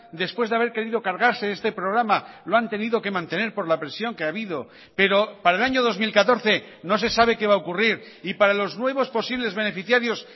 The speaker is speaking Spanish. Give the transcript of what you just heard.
después de haber querido cargarse este programa lo han tenido que mantener por la presión que ha habido pero para el año dos mil catorce no se sabe qué va a ocurrir y para los nuevos posibles beneficiarios